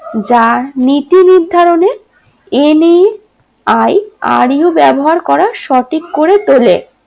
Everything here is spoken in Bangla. যার নীতি নির্ধারণে n a i r u ব্যবহার করা সঠিক করে তোলে